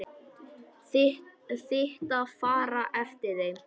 Þitt að fara eftir þeim.